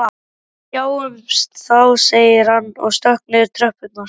Við sjáumst þá sagði hann og stökk niður tröppurnar.